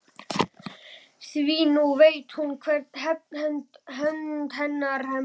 Því nú veit hún hver hefnd hennar mun verða.